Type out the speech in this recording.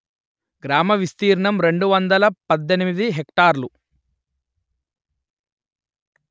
గ్రామ విస్తీర్ణం రెండు వందలు పధ్ధెనిమిది హెక్టారులు